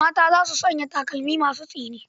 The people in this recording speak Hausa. Mata za suna sanya takalma masu tsini.